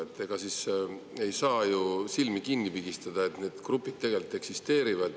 Aga ega ei saa ju silmi kinni pigistada, et need grupid tegelikult eksisteerivad.